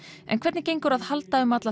en hvernig gengur að halda um alla